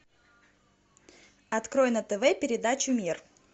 открой на тв передачу мир